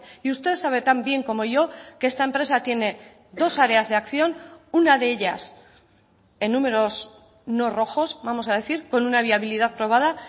y usted sabe tan bien como yo que esta empresa tiene dos áreas de acción una de ellas en números no rojos vamos a decir con una viabilidad probada